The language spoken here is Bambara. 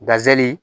Gazeli